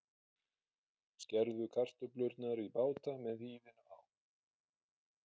Skerðu kartöflurnar í báta með hýðinu á.